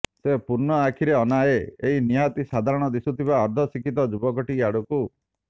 ସେ ପୂର୍ଣ୍ଣ ଆଖିରେ ଅନାଏ ଏଇ ନିହାତି ସାଧାରଣ ଦିଶୁଥିବା ଅର୍ଦ୍ଧ ଶିକ୍ଷିତ ଯୁବକଟି ଆଡ଼କୁ